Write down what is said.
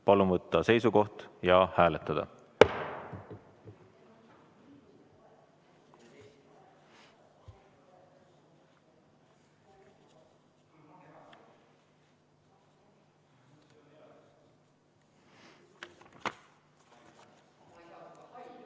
Palun võtta seisukoht ja hääletada!